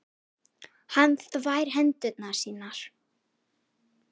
Hann þvær hendur sínar.